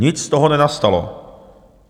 Nic z toho nenastalo.